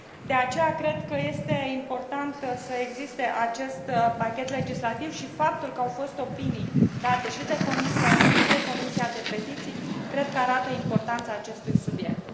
De aceea cred că este important să existe acest pachet legislativ și faptul că au fost opinii date și de Comisia JURI și de Comisia pentru petiții cred că arată importanța acestui subiect.